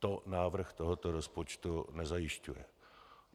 To návrh tohoto rozpočtu nezajišťuje.